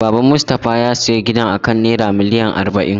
Baban Mustafa ya siya gidan akan naira miliyan arba'in.